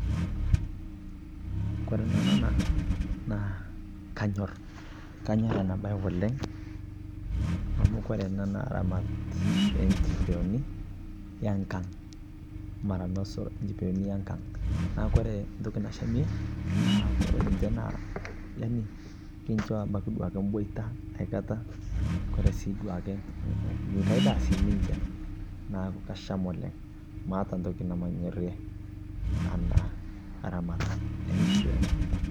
Kore nanu ana naa kaanyor. Kaanyor ana baye oleng amu kore ana naa ramaat e nkipeoni e nkaang. Mara noosho nkipeoni e nkaang. Naa kore ntoki naashamie naaku kore ninchee naa yaani kinchoo abaki duake booita aikataa. Kore sii duake nkaai ndaa sii ninchee naaku kashaam oleng. Maata ntoki namanyoorie ana ramaat e nkipeoni.